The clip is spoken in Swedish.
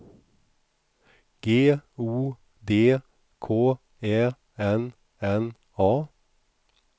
G O D K Ä N N A